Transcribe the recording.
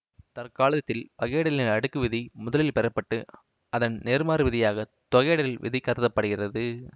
தற்காலத்தில் வகையிடலின் அடுக்கு விதி முதலில் பெறப்பட்டு அதன் நேர்மாறு விதியாக தொகையிடல் விதி கருத படுகிறது